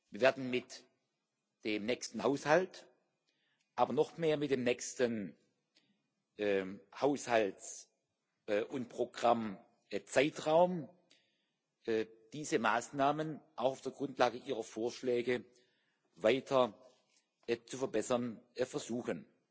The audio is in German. Wir werden mit dem nächsten Haushalt, aber noch mehr mit dem nächsten Haushalts und Programmzeitraum diese Maßnahmen auch auf der Grundlage Ihrer Vorschläge weiter zu verbessern versuchen.